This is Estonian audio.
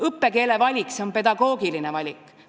Õppekeele valik on pedagoogiline valik.